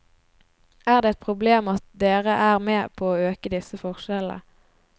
Er det et problem at dere er med på å øke disse forskjellene?